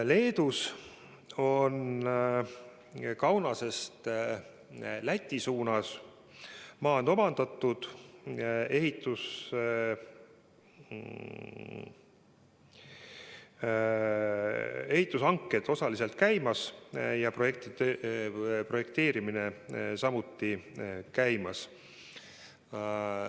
Leedus on Kaunasest Läti suunas maad omandatud, ehitushanked on osaliselt käimas, projekteerimine on samuti käimas.